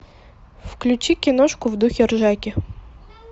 включи киношку в духе ржаки